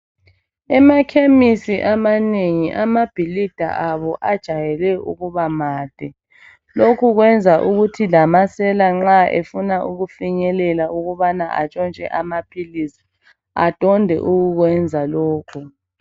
Ema chemis amanengi amabhilida abo ajayele ukuba made lokhu kwenza ukuthi lamasela nxa efuna ukufinyelela ukubana antshontshe amaphilisi adonde ukukwenza lokhu